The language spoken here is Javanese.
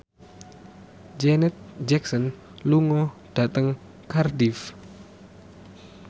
Janet Jackson lunga dhateng Cardiff